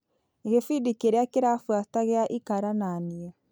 Gĩbindi kĩrĩa kĩrabuata gĩa ikara na niĩ.